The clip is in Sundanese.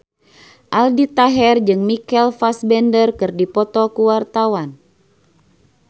Aldi Taher jeung Michael Fassbender keur dipoto ku wartawan